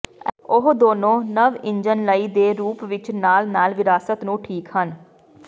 ਉਹ ਦੋਨੋ ਨਵ ਇੰਜਣ ਲਈ ਦੇ ਰੂਪ ਵਿੱਚ ਨਾਲ ਨਾਲ ਵਿਰਾਸਤ ਨੂੰ ਠੀਕ ਹਨ